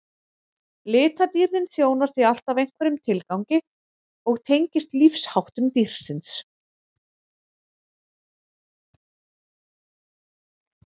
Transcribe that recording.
litadýrðin þjónar því alltaf einhverjum tilgangi og tengist lífsháttum dýrsins